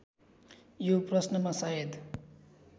यो प्रश्नमा सायद